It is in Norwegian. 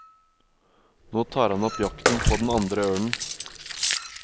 Nå tar han opp jakten på den andre ørnen.